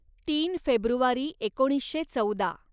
तीन फेब्रुवारी एकोणीसशे चौदा